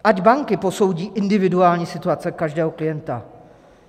Ať banky posoudí individuální situaci každého klienta.